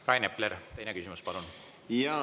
Rain Epler, teine küsimus, palun!